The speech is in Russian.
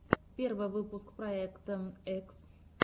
первый выпуск проекта экс